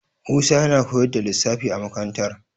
Musa yana koyar da lissafi a makarantar.